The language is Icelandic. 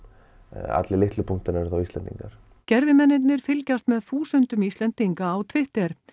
allir litlu punktarnir eru þá Íslendingar fylgjast með þúsundum Íslendinga á Twitter